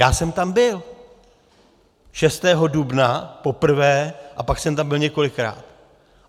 Já jsem tam byl - 6. dubna poprvé a pak jsem tam byl několikrát.